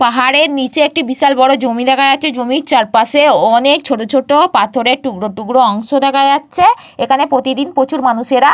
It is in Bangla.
পাহাড়ের নিচে একটি বিশাল বড় জমি দেখা যাচ্ছে। জমির চারপাশে অনেক ছোট ছোট পাথরের টুকরো টুকরো অংশ দেখা যাচ্ছে। এখানে প্রতিদিন প্রচুর মানুষেরা।